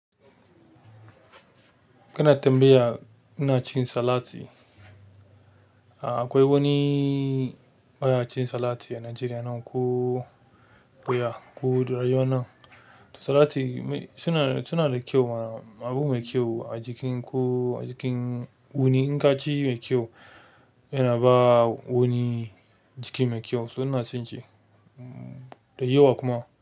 Kana tambaya ina cin salati. A akwai wani ba ya cin salati a Najeriya nan ko ya ko da yawan nan. To salati suna, suna da kyau ma. Abu mai kyau a jikin ku, a jikin wani, in ka ci mai kyau yana ba wani jiki mai kyau. So ina cin shi, da yawa kuma.